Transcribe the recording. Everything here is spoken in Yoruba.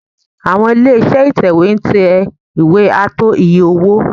Àwọn ilé-iṣẹ́ Ìtẹ̀wé ń tẹ ìwé ààtò iye-owó